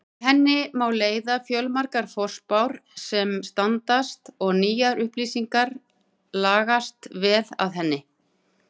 Af henni má leiða fjöldamargar forspár sem standast og nýjar upplýsingar lagast vel að henni.